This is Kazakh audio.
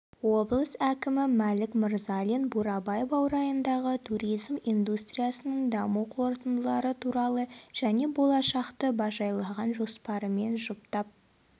облыс әкімі мәлік мырзалин бурабай баурайындағы туризм индустриясының даму қорытындылары туралы және болашақты бажайлаған жоспарымен жұптап